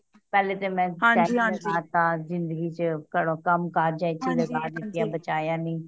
ਪਹਿਲੇ ਤੇ ਮੈਂ ਪੈਸਾ ਫਸਾ ਤਾ ਜਿੰਦਗੀ ਚ ਘਰੋਂ ਕੰਮ ਕਾਜਾ ਚ ਲਗਾ ਦਿੱਤੇ ਬਚਾਯਾ ਨਹੀਂ